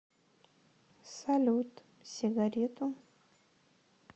салют сигарету